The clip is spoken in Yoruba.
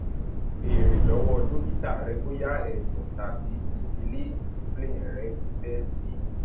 bèèrè lọwọ dókítà rẹ bóyá ẹdọtàbí sípílíìnì spleen rẹ ti fẹ sí i